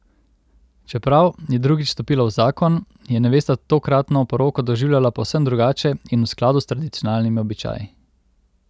Čeprav je drugič stopila v zakon, je nevesta tokratno poroko doživljala povsem drugače in v skladu s tradicionalnimi običaji.